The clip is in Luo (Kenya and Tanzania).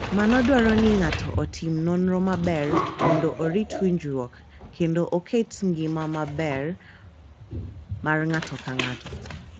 Mano dwaro ni ng’ato otim nonro maber mondo orit winjruok kendo oket ngima maber mar ng’ato ka ng’ato.